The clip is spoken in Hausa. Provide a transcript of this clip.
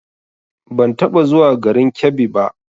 Ban taɓa zuwa garin Kebbi ba